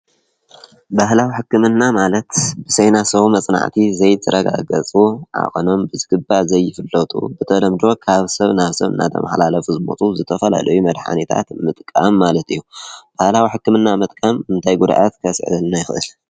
በህላ ዊሕክምና ማለት ብሰይናሰዉ መጽናዕቲ ዘይትረጋገጹ ኣቐኖም ብዝግባ ዘይፍሎቱ ብተለምድወ ካሃብ ሰብ ናፍ ሰብ እናተም ሓላለፍ ሕዝሞጡ ዝተፈላለይ መድኃኒታት ምጥቃም ማለት እዩ። በህላዊሕክምና መጥቃም እንታይ ጕድኣት ከስዕልና ይኽእል?